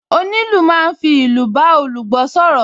Onílù máa ń fi ìlù bá olùgbọ́ sọ̀rọ̀